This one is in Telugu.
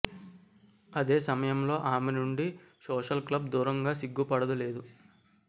అదే సమయంలో ఆమె నుండి సోషల్ క్లబ్ దూరంగా సిగ్గుపడదు లేదు